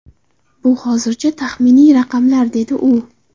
Bu hozircha taxminiy raqamlar”, - dedi u.